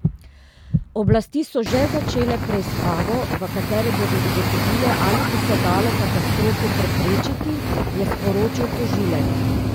Oblasti so že začele preiskavo, v kateri bodo ugotovile, ali bi se dalo katastrofo preprečiti, je sporočil tožilec.